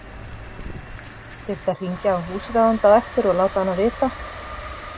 Þyrfti að hringja á húsráðanda á eftir og láta hana vita.